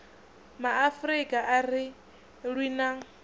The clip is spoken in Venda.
maafrika a ri lwi na